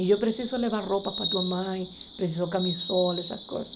E eu preciso levar roupa para tua mãe, preciso camisola, essas coisas.